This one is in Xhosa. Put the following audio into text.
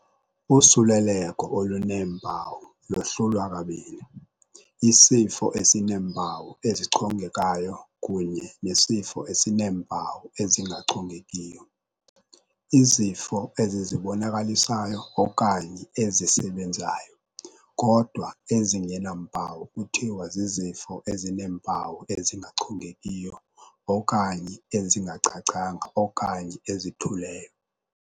Usuleleko oluneempawu lohlulwa kabini, isifo esineempawu ezichongekayo kunye nesifo esineempawu ezingachongekiyo. Izifo ezizibonakalisyo okanye ezisebenzayo kodwa ezingena mpawu kuthiwa zizifo ezineempawu ezingachongekiyo, okanye ezingacacanga okanye ezithuleyo.